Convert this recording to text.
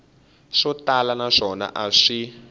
swo tala naswona a xi